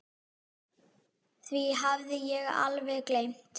Því hafði ég alveg gleymt.